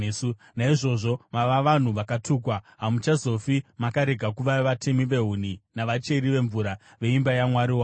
Naizvozvo mava vanhu vakatukwa: Hamuchazofi makarega kuva vatemi vehuni navacheri vemvura veimba yaMwari wangu.”